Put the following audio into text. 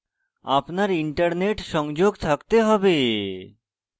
আপনার internet সংযোগ থাকতে হবে